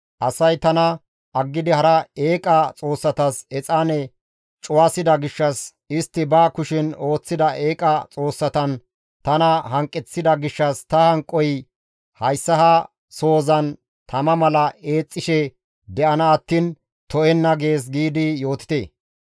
Asay tana aggidi hara eeqa xoossatas exaane cuwasida gishshas, istti ba kushen ooththida eeqa xoossatan tana hanqeththida gishshas ta hanqoy hayssa ha sohozan tama mala eexxishe de7ana attiin to7enna› gees giidi yootite.